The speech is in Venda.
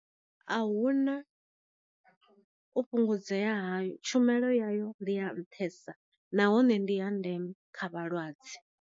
A huna u fhungudzea hayo, tshumelo ya yo ndi ya nṱhesa nahone ndi ya ndeme kha vhalwadze.